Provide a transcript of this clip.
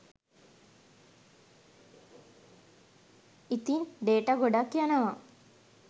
ඉතින් ඩේටා ගොඩක් යනවා